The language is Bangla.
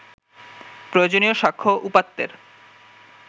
প্রয়োজনীয় স্বাক্ষ্য, উপাত্তের